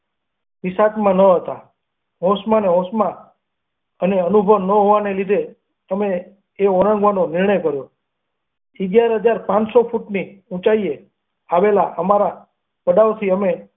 વિસાતમાં ન હતા. હોંશમાં ને હોશ માં અને અનુભવ ન હોવાને લીધે અમે એ ઓળંગવાનો નિર્ણય કર્યો અગિયાર હજાર પાનસો ફૂટની ઊંચાઈએ આવેલ અમારા પડાવથી અમે.